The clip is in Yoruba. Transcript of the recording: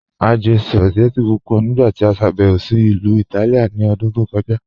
A jẹ̀ spagẹttì pupọ nigbati a ṣàbẹwo sí Ilu Ìtálìà ní òdún tó kọja.